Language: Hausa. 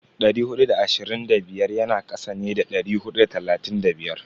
Dari hudu da ashirin da biyar yana kasa ne da dari hudu da talatin da biyar.